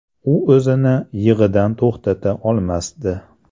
U o‘zini yig‘idan to‘xtata olmasdi.